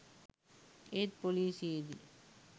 ඒත් පොලිසියේදී